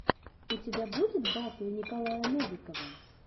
у тебя будет батл николая новикова